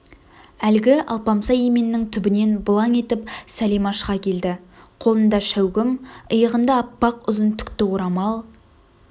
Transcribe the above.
әлгі алпамса еменнің түбінен бұлаң етіп сәлима шыға келді қолында шәугім иығында аппақ ұзын түкті орамал